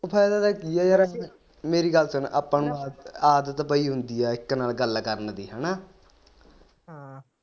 ਓ ਫਾਇਦਾ ਤਾ ਕੀਆ ਯਾਰ ਮੇਰੀ ਗੱਲ ਸੁਣ ਆਪਾ ਨੂੰ ਆਦਤ ਪਈ ਹੁੰਦੀ ਇਕ ਨਾਲ ਗੱਲ ਕਰਨ ਦੀ ਹੈਨਾ